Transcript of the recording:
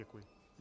Děkuji.